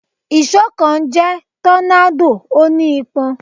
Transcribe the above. Ìṣó kan ń jẹ́ tọ́nádò, ó ní ipọn.